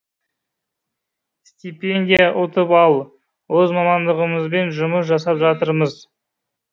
стипендия ұтып ал өз мамандығымызбен жұмыс жасап жатырмыз